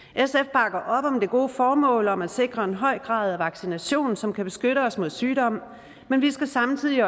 bakker op om det gode formål om at sikre en høj grad af vaccination som kan beskytte os mod sygdomme men vi skal samtidig